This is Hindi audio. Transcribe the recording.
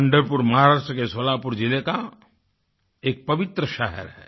पंढरपुर महाराष्ट्र के सोलापुर जिले का एक पवित्र शहर है